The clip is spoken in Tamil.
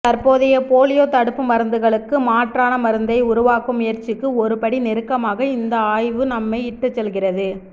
தற்போதைய போலியோ தடுப்பு மருந்துகளுக்கு மாற்றான மருந்தை உருவாக்கும் முயற்சிக்கு ஒரு படி நெருக்கமாக இந்த ஆய்வு நம்மை இட்டுசெல்கிறது